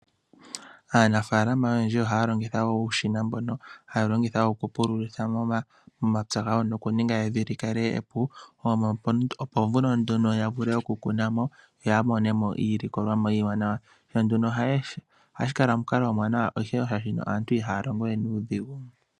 Aanafaalama oyendji ohaya longitha uushina mboka haya longitha oku pululitha momapya gawo nokuninga evi likale epu yo yavule okukunamo yo yamone iilikolomwa iiwanawa ,ohashi kala omukalo omuwanawa oshoka aantu aantu ihaya longo we nuudhigu.